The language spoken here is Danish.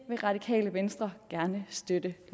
vil radikale venstre støtter